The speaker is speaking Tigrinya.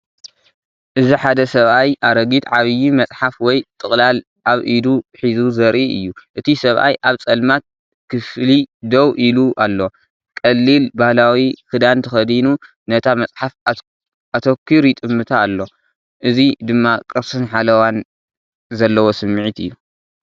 እዚ ሓደ ሰብኣይ ኣረጊት ዓቢ መጽሓፍ ወይ ጥቕላል ኣብ ኢዱ ሒዙ ዘርኢ እዩ። እቲ ሰብኣይ ኣብ ጸልማት ክፍሊ ደው ኢሉ ኣሎ። ቀሊል ባህላዊ ክዳን ተኸዲኑ፡ነታ መጽሓፍ ኣተኲሩ ይጥምታ ኣሎ። እዚ ድማ ቅርስን ሓለዋን ዘለዎ ስምዒት እዩ።